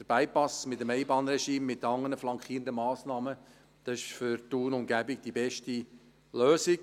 Der Bypass mit dem Einbahnregime und mit den anderen flankierenden Massnahmen ist für Thun und Umgebung die beste Lösung.